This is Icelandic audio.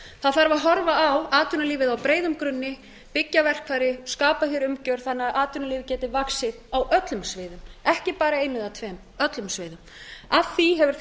það þarf að horfa á atvinnulífið á breiðum grunni byggja verkfæri skapa hér umgjörð þannig að atvinnulífið geti vaxið á öllum sviðum ekki bara einu eða tveim öllum sviðum að því hefur